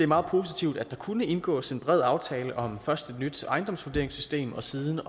meget positivt at der kunne indgås en bred aftale om først et nyt ejendomsvurderingssystem og siden